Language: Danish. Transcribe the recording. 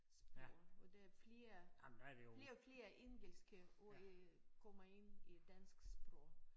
Sprog og der er flere flere og flere engelske ord øh kommer ind i dansk sprog